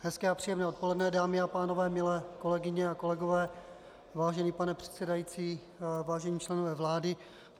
Hezké a příjemné odpoledne dámy a pánové, milé kolegyně a kolegové, vážený pane předsedající, vážení členové vlády.